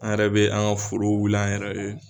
An yɛrɛ bɛ an ka forow wuli an yɛrɛ ye